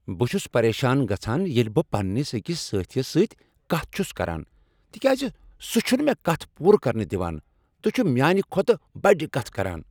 بہٕ چھس پریشان گژھان ییٚلہ بہٕ پننس أکس سٲتھیس سۭتۍ کتھ چھس کران تکیاز سہ چھنہٕ مےٚ کتھ پوٗرٕ کرنہٕ دوان تہٕ چھ میانِہ کھۄتہٕ بَڈ کتھہٕ کران۔